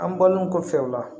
An bɔlen kɔfɛ o la